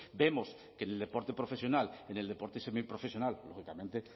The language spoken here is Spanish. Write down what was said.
vemos que en el deporte profesional en el deporte semiprofesional lógicamente